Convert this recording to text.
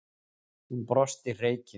Hún brosti hreykin.